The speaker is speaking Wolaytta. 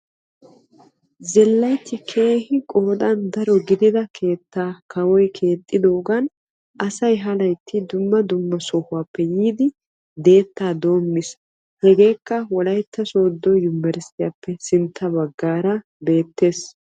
zilaytti keehi qoodan daro gidida keettaa kawoy keexxidoogan asay ha laytti dumma dumma sohuwappe yiidi deetta doommiis, hegekka Wolaytta Sooddo Yunbbersttiyappe sintta baggaara beettees.